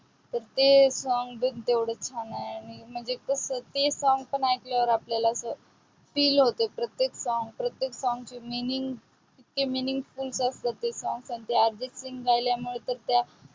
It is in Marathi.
ते सांग पण तेवढे छान आहे. म्हणजे कसं ते ऐकल्यावर आपल्याला feel होतं. ते song प्रत्येक song प्रत्येक song meaningful असते. ते song म्हणजे अर्जित सिंग गायल्यामुळे तर त्या